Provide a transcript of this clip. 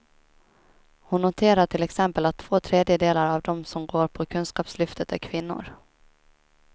Hon noterar till exempel att två tredjedelar av dem som går på kunskapslyftet är kvinnor.